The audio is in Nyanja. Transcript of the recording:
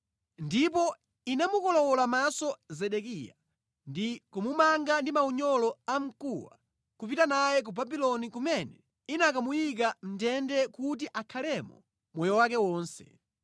Ndipo inamukolowola maso Zedekiya, ndi kumumanga ndi maunyolo a mkuwa nʼkupita naye ku Babuloni kumene inakamuyika mʼndende kuti akhalemo moyo wake wonse.